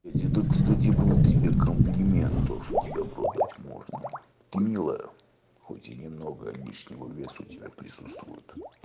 это к стати был тебе комплимент то что тебе в рот дать можно ты милая хоть и немного лишнего веса у тебя присутствует